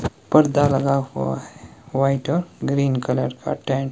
पर्दा लगा हुआ है व्हाईट और ग्रीन कलर का टेंट --